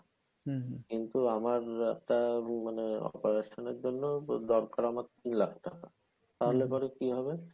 কিন্তু আমার একটা মানে operation এর জন্য দরকার আমার তিন লাখ টাকা তাহলে পরে কী হবে?